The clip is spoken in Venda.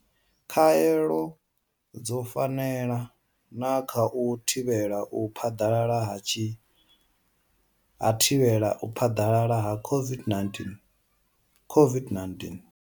Khaelo dzo fanela na kha u thivhela u phaḓalala ha u thivhela u phaḓalala ha COVID-19COVID-19?